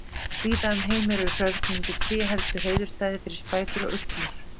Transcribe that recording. Víða um heim eru hrörnandi tré helstu hreiðurstæði fyrir spætur og uglur.